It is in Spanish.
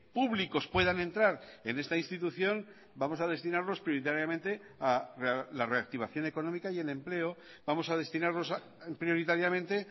públicos puedan entrar en esta institución vamos a destinarlos prioritariamente a la reactivación económica y el empleo vamos a destinarlos prioritariamente